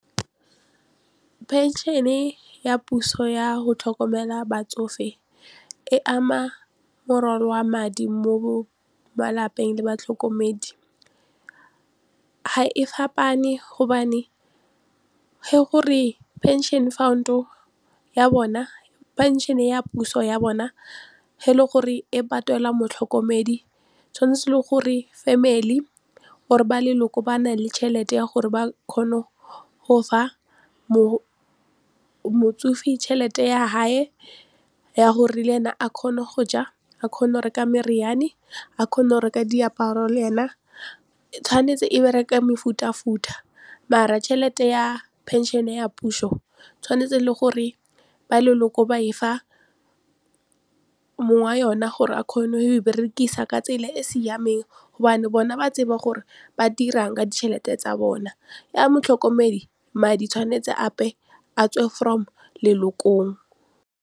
Pension-e ya puso ya go tlhokomela batsofe e ama morwalo wa madi mo malapeng le batlhokomedi, ha e fapane gobane ge gore pension fund-o ya bona pension ya puso ya bona ge e le gore e patela motlhokomedi tshwanetse le gore family or ba leloko ba na le tšhelete ya gore ba kgone go fa motsofe tšhelete ya hae ya gore le ene a kgone go ja a kgone go reka meriane a kgone go reka diaparo le ena tshwanetse e bereka mefutafuta mara tšhelete ya pension-e ya puso tshwanetse le gore ba leloko ba e fa mong wa yone gore a kgone go e berekisa ka tsela e e siameng gobane bona ba tseba gore ba dirang ka ditšhelete tsa bona ya motlhokomedi madi tshwanetse atswe from lelokong.